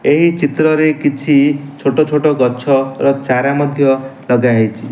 ଏହି ଚିତ୍ରରେ କିଛି ଛୋଟ ଛୋଟ ଗଛ ଓ ଚାରା ମଧ୍ୟ ଲଗାହେଇଚି।